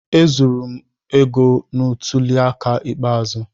Ezuru m n'oge ntuli aka ikpeazụ.